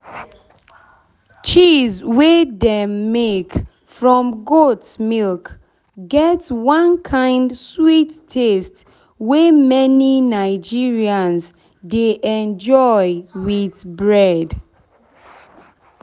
cheese wey dem make from goat milk get one kind sweet taste wey many nigerians dey enjoy with bread.